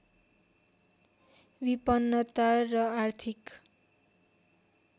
विपन्नता र आर्थिक